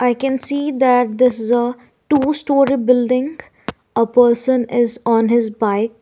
i can see that this is a two storey building a person is on his bike.